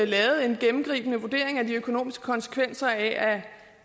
lavet en gennemgribende vurdering af de økonomiske konsekvenser af